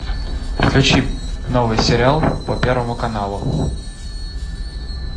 включи новый сериал по первому каналу